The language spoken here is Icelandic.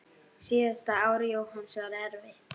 Síðasta ár Jóhanns var erfitt.